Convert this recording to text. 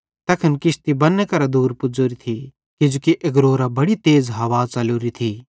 तैखन किश्ती बन्ने करां दूर पुज़ोरी थी किजोकि एग्रोवरां बड़ी तेज़ हवा च़लोरी थी